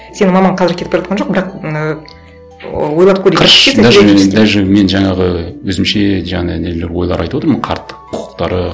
сенің мамаң қазір кетіп бара жатқан жоқ бірақ ыыы ойлап көрейік даже даже мен жаңағы өзімше жаңағы нелер ойлар айтып отырмын ғой қарт құқықтары